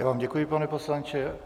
Já vám děkuji, pane poslanče.